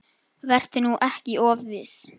Vertu nú ekki of viss.